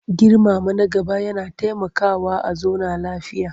Girmama na gaba yana taimakawa a zauna lafiya.